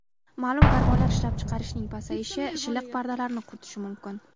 Ma’lum gormonlar ishlab chiqarishning pasayishi shilliq pardalarni quritishi mumkin.